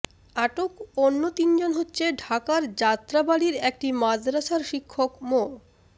আটক অন্য তিনজন হচ্ছে ঢাকার যাত্রাবাড়ীর একটি মাদ্রাসার শিক্ষক মো